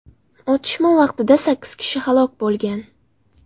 Otishma vaqtida sakkiz kishi halok bo‘lgan.